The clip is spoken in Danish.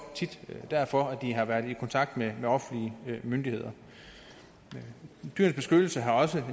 tit derfor de har været i kontakt med offentlige myndigheder dyrenes beskyttelse har også